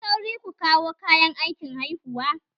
Kuyi sauri ku kawo kayan aikin haihuwa!